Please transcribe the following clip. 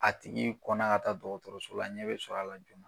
A tigi kɔnna ka taa dɔgɔtɔrɔso la ɲɛ be sɔrɔ a la.